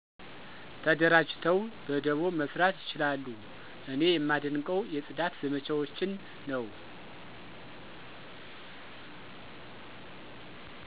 ተደራጅተው በደቦ መስራት ይችላሉ። እኔ የማደንቀው የጽዳት ዘመቻዎችን ነው።